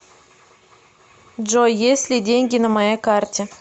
джой есть ли деньги на моей карте